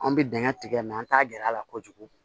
An bɛ dingɛ tigɛ mɛ an t'a gɛrɛ a la kojugu